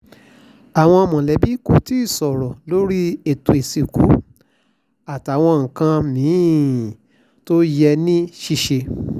àwọn mọ̀lẹ́bí kò tí ì sọ̀rọ̀ lórí ètò ìsìnkú àtàwọn nǹkan mí-ín tó yẹ ní ṣíṣe